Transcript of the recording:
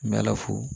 N bɛ ala fo